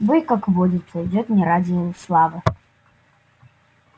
бой как водится идёт не ради славы